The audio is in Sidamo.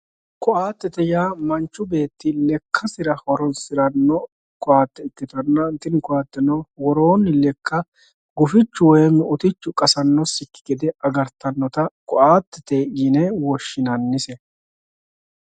Koattete yaa manchu beetti lekkasira horonsi'ranno koatte ikkitanna, tini koatteno woroonni lekka gufichu woyim utichu qassannosikki gede agartannota koattete yine woshshinannise.